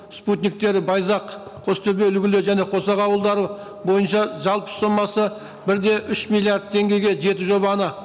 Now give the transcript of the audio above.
спутниктері байзақ қостөбе үлгілі және қосақ ауылдары бойынша жалпы сомасы бір де үш миллиард теңгеге жеті жобаны